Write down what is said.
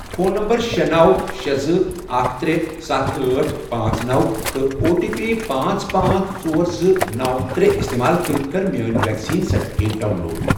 Phone number شے، نو، شے، زٕ، اکھ، ترے، ستھ، أٹھ، پانژھ، نوَ، تہٕ او ٹی پی پانژھ، پانژھ، ژور، زٕ، نوَ، ترے، استعمال کٔرِتھ کر میٲنۍ ویکسیٖن سرٹِفکیٹ ڈاؤن لوڈ۔